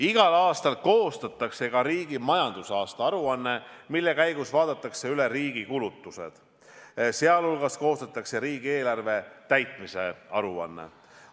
Igal aastal koostatakse riigi majandusaasta aruanne, mille käigus vaadatakse üle riigi kulutused, sh koostatakse riigieelarve täitmise aruanne.